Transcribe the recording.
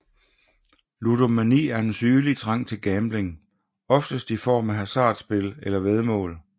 Ludomani er en sygelig trang til gambling oftest i form af hasardspil eller væddemål